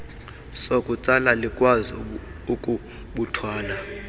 sokutsala likwazi ukubuthwala